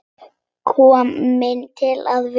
Komin til að vera?